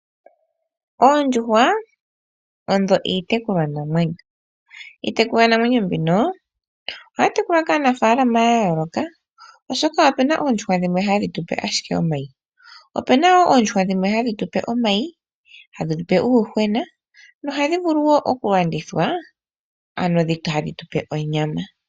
Oondjuhwa odho iitekulwa namwenyo, iitekulwa namwenyo mbika ohayi tekulwa kaanafaalama ya yooloka oshoka opuna oondjuhwa dhimwe hadhi tupe asjike omayi, opuna oondjuhwa dhimwe hadhi tupe omayi, hadhi tupe uuyuhwena na ohadhi vulu wo okulandithwa dhi kale hadhi tupe onyama.